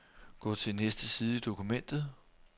Gå til næste side i dokumentet.